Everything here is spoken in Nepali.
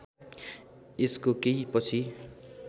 यसको केही पछि